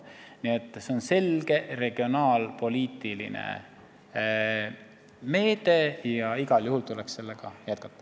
Nii et see on selge regionaalpoliitiline meede ja igal juhul tuleb sellega jätkata.